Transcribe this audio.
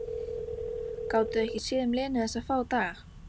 Gátuði ekki séð um Lenu þessa fáu daga?